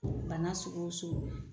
bana sugu o sugu